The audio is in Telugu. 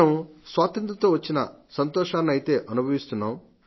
మనం స్వాతంత్ర్యంతో వచ్చిన సంతోషాన్నయితే అనుభవిస్తున్నాం